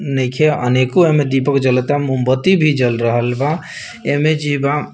नइखे अनेको ऐमें दीपक जलता मोमबत्ती भी जल रहल बा ऐमे जीवाम --